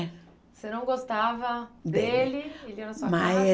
Você não gostava dele, ele ia na sua casa? Mas